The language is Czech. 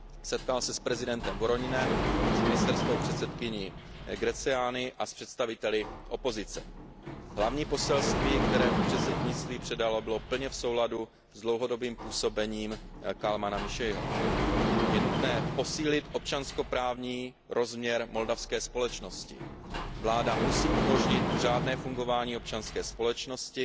Setkal se s prezidentem Voroninem, s ministerskou předsedkyní Greceanii a s představiteli opozice. Hlavní poselství, které předsednictví předalo, bylo plně v souladu s dlouhodobým působením Kalmana Miszeiho. Je nutné posílit občanskoprávní rozměr moldavské společnosti, vláda musí umožnit řádné fungování občanské společnosti,